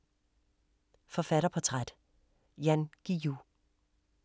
Forfatterportræt: Jan Guillou